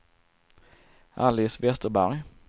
Alice Vesterberg